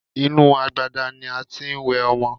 Inú agbada ni a tí ń wẹ ọmọ.